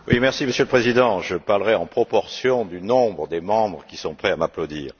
Monsieur le Président, je parlerai en proportion du nombre des membres qui sont prêts à m'applaudir.